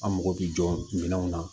An mago bɛ jɔ minɛnw na